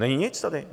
Není nic tady.